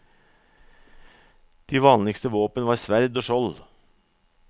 De vanligste våpen var sverd og skjold.